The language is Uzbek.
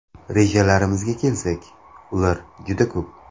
Rejalarimizga kelsak, ular juda ko‘p.